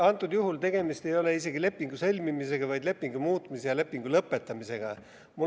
Antud juhul tegemist ei ole isegi lepingu sõlmimisega, vaid lepingu muutmise ja lõpetamisega.